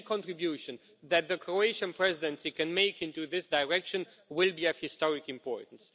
Any contribution that the Croatian Presidency can make in this direction will be of historic importance.